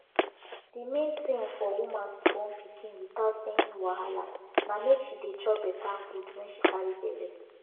de main tin for woman to born pikin without any wahala na make she dey chop better food wen she carry belle